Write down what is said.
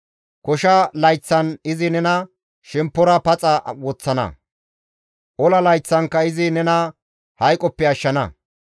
Kosha layththan izi nena shemppora paxa woththana; ola layththankka izi nena hayqoppe ashshana.